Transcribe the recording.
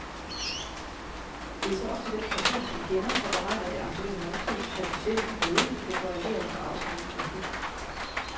Det er så op til den person, som kender og beregner det aktuelle måltid, at bestemme, hvorledes der skal korrigeres for afsmeltning af fedt.